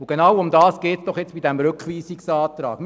Genau darum geht es nun beim vorliegenden Rückweisungsantrag.